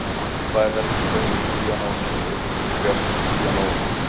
Tvær helstu gerðir píanós eru upprétt píanó og flygill.